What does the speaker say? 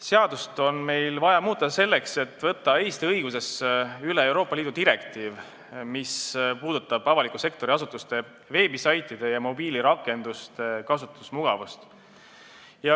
Seadust on vaja muuta selleks, et võtta Eesti õigusesse üle Euroopa Liidu direktiiv, mis puudutab avaliku sektori asutuste veebisaitide ja mobiilirakenduste kasutusmugavust.